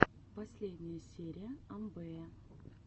последняя серия амвэя